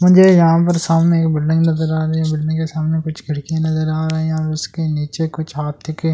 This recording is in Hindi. मुझे यहां पर सामने एक बिल्डिंग नजर आ रही है बिल्डिंग के सामने कुछ खिड़की नजर आ रही है और उसके नीचे कुछ हाथी के --